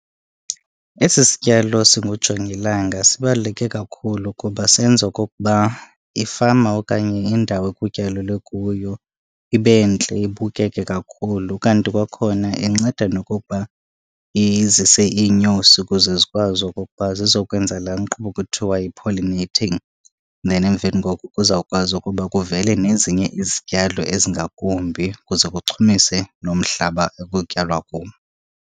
Esi sityalo singujongilanga sibaluleke kakhulu kuba senza okokuba ifama okanye indawo ekutyalelwe kuyo ibe ntle, ibukeke kakhulu. Ukanti kwakhona inceda nokokuba izise iinyosi ukuze zikwazi okokuba zizokwenza laa nkqubo kuthiwa yi-pollinating, then emveni koko kuzawukwazi ukuba kuvele nezinye izityalo ezingakumbi ukuze kuchumise nomhlaba ekutyalwa kuwo.